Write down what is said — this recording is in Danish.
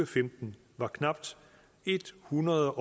femten var knap ethundrede